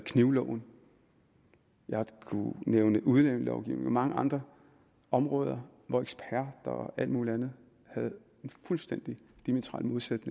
knivloven og jeg kunne nævne udlændingelovgivningen og mange andre områder hvor eksperter og alle mulige andre havde en fuldstændig diametralt modsat